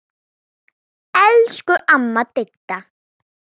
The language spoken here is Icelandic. Elsku amma Didda.